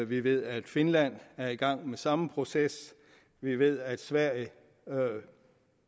vi ved at finland er i gang med samme proces vi ved at sverige